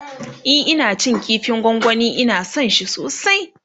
e Ina cin kifin gwangwani Ina San shi sosai